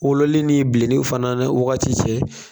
Wololi ni bilenniw fana ni wagati cɛ